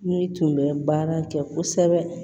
Ne tun bɛ baara kɛ kosɛbɛ